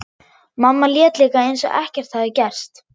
Mamma lét líka eins og ekkert hefði gerst.